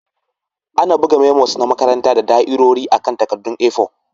Ana buga memos na makaranta da da'irori akan takaddun A4.